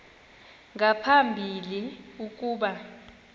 nga phambili ukuba